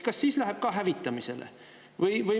Kas läheb ka hävitamisele?